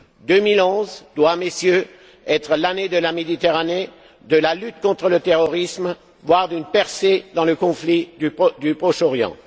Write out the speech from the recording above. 2011 doit, Messieurs, être l'année de la Méditerranée, de la lutte contre le terrorisme, voire d'une percée dans le conflit du Proche Orient.